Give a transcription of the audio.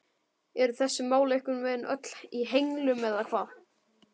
Eru þessi mál einhvern veginn öll í henglum eða hvað?